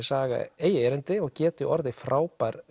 saga eigi erindi og geti orðið frábær